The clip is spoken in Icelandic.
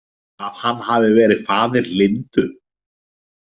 Að hann hafi verið faðir Lindu?